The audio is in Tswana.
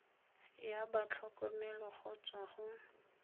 ya batlhokomelo go tswa go